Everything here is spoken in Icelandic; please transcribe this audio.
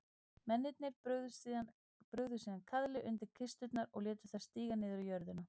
Mennirnir brugðu síðan kaðli undir kisturnar og létu þær síga niður í jörðina.